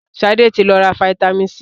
Sade tí ló rà vitamin c.